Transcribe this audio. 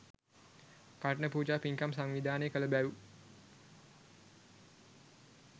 කඨින පූජා පින්කම් සංවිධානය කළ බැව්